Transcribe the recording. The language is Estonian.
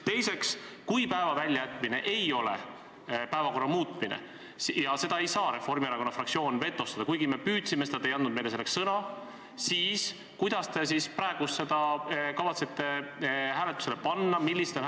Teiseks, kui päeva väljajätmine ei ole päevakorra muutmine ja seda ei saa Reformierakonna fraktsioon vetostada – kuigi me püüdsime seda, aga te ei andnud meile selleks sõna –, siis kuidas te kavatsete praegu selle hääletusele panna?